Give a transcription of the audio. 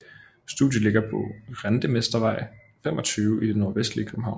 Studiet ligger på Rentemestervej 25 i det nordvestlige København